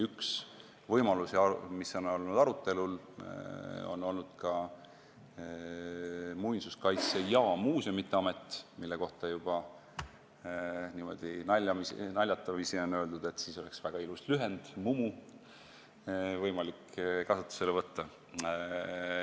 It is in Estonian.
Üks võimalusi, mis on olnud arutelul, on olnud ka Muinsuskaitse ja Muuseumide Amet, mille kohta on juba naljatamisi öeldud, et siis oleks võimalik kasutusele võtta väga ilus lühend Mumu.